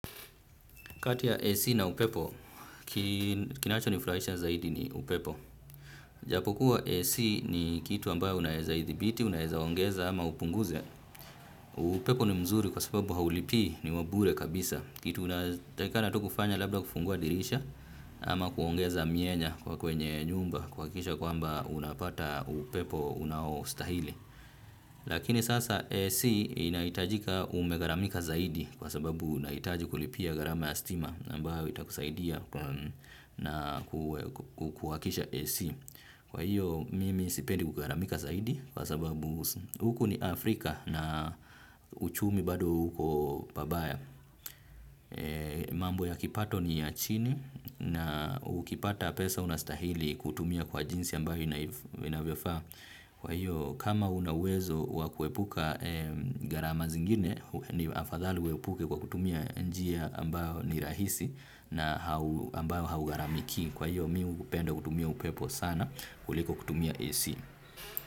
Katia AC na upepo, kinachonifurahisha zaidi ni upepo. Japokuwa AC ni kitu ambayo unaweza idhibiti, unaweza ongeza ama upunguze. Upepo ni mzuri kwa sababu haulipii, ni wabure kabisa. Kitu unatakikana tu kufanya labda kufungua dirisha ama kuongeza mienya kwa kwenye nyumba kuhakikisha kwamba unapata upepo unaostahili. Lakini sasa AC inahitajika umegharamika zaidi kwa sababu unahitaji kulipia gharama ya stima na ambayo itakusaidia na kuwakisha AC. Kwa hiyo mimi sipendi kugharamika zaidi kwa sababu huku ni Afrika na uchumi bado uko pabaya. Mambo ya kipato ni ya chini na ukipata pesa unastahili kutumia kwa jinsi ambayo inavyofaa, kwa hiyo kama una uwezo wa kuepuka gharama zingine ni afadhali uepuke kwa kutumia njia ambayo ni rahisi na ambayo haugharamikii. Kwa hiyo mi hupenda kutumia upepo sana kuliko kutumia AC.